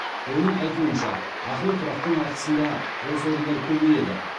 оның айтуынша ақылы тұрақтың арқасында бос орындар көбейеді